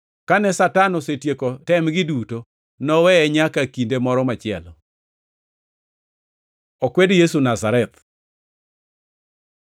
Kane Satan osetieko temgi duto, noweye nyaka kinde moro machielo. Okwed Yesu Nazareth